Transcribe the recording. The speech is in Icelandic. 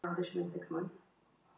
Og hleyp upp stigann.